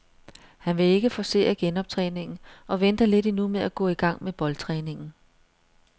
Han vil ikke forcere genoptræningen og venter lidt endnu med at gå i gang med boldtræningen.